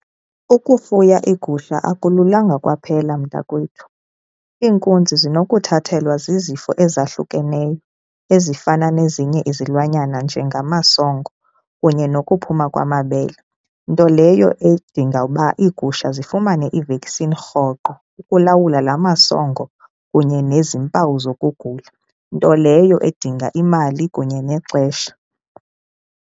Ukufuya iigusha akululanga kwaphela, mntakwethu. Iinkunzi zinokuthathelwa zizifo ezahlukeneyo ezifana nezinye izilwanyana njengamasongo kunye nokuphuma kwamabele, nto leyo edinga uba iigusha zifumane iveksini rhoqo ukulawula laa masongo kunye nezimpawu zokugula nto leyo edinga imali kunye nexesha.